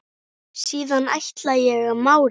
Síðan ætla ég að mála.